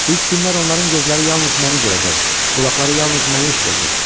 İlk günlər onların gözləri yalnız məni görəcək, qulaqları yalnız məni eşidəcək.